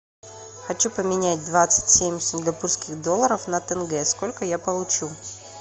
хочу поменять двадцать семь сингапурских долларов на тенге сколько я получу